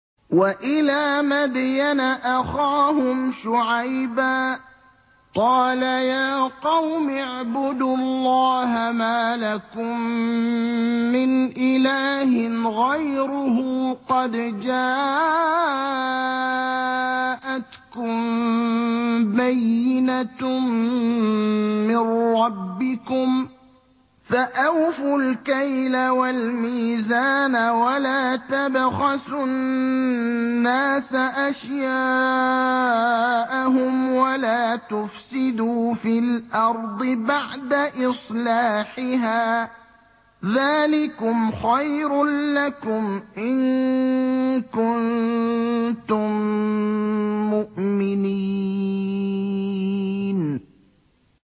وَإِلَىٰ مَدْيَنَ أَخَاهُمْ شُعَيْبًا ۗ قَالَ يَا قَوْمِ اعْبُدُوا اللَّهَ مَا لَكُم مِّنْ إِلَٰهٍ غَيْرُهُ ۖ قَدْ جَاءَتْكُم بَيِّنَةٌ مِّن رَّبِّكُمْ ۖ فَأَوْفُوا الْكَيْلَ وَالْمِيزَانَ وَلَا تَبْخَسُوا النَّاسَ أَشْيَاءَهُمْ وَلَا تُفْسِدُوا فِي الْأَرْضِ بَعْدَ إِصْلَاحِهَا ۚ ذَٰلِكُمْ خَيْرٌ لَّكُمْ إِن كُنتُم مُّؤْمِنِينَ